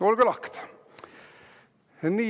Olge lahked!